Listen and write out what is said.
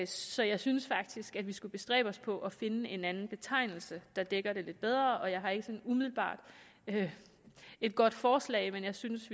så jeg synes faktisk at vi skulle bestræbe os på at finde en anden betegnelse der dækker det lidt bedre jeg har ikke umiddelbart et godt forslag men jeg synes